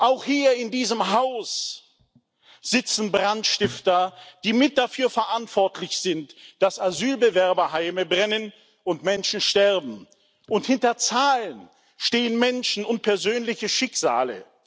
Auch hier in diesem Haus sitzen Brandstifter, die mit dafür verantwortlich sind, dass Asylbewerberheime brennen und Menschen sterben. Und hinter Zahlen stehen Menschen und persönliche Schicksale.